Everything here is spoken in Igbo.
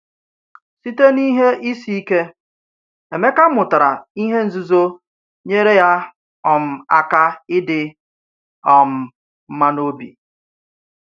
Site n’ihe isi ike, Emeka mụtara ihe nzuzo nyere ya um aka idi um mma n’obi.